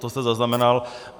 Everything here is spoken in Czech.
To jste zaznamenal.